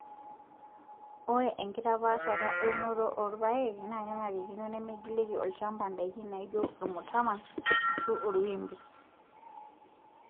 Ore enkitapaashata euoto oorpaek naa kenarikino nemeigilieki olchampa ndaikin naijio ormutama ashua orwimbi.